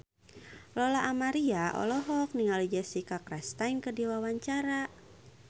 Lola Amaria olohok ningali Jessica Chastain keur diwawancara